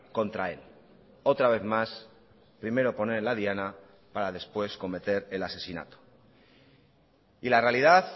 contra él otra vez más primero poner en la diana para después cometer el asesinato y la realidad